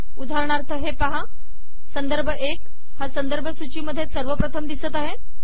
उदाहरणार्थ हे पाहा संदर्भ एक हा संदर्भ सूची मध्ये सर्वप्रथम दिसत आहे